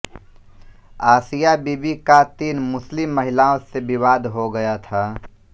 आसिया बीबी का तीन मुस्लिम महिलाओं से विवाद हो गया था